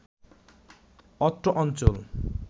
অত্র অঞ্চল